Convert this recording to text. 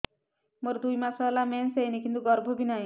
ମୋର ଦୁଇ ମାସ ହେଲା ମେନ୍ସ ହେଇନି କିନ୍ତୁ ଗର୍ଭ ବି ନାହିଁ